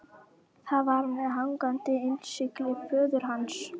Það var með hangandi innsigli föður hans.